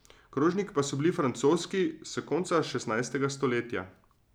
Krožniki pa so bili francoski, s konca šestnajstega stoletja.